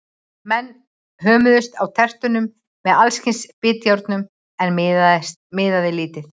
Menn hömuðust á tertunum með alls kyns bitjárnum, en miðaði lítið.